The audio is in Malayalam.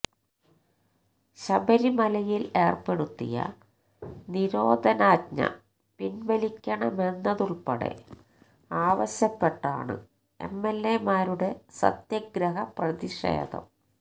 ശബരിമലയിൽ ഏർപ്പെടുത്തിയ നിരോധനാജ്ഞ പിൻവലിക്കണമെന്നതുള്പ്പെടെ ആവശ്യപ്പെട്ടാണ് എംഎൽഎമാരുടെ സത്യഗ്രഹ പ്രതിഷേധം